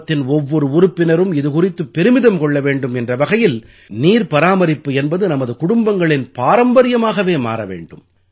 குடும்பத்தின் ஒவ்வொரு உறுப்பினரும் இது குறித்து பெருமிதம் கொள்ள வேண்டும் என்ற வகையில் நீர் பாரமரிப்பு என்பது நமது குடும்பங்களின் பாரம்பரியமாகவே மாற வேண்டும்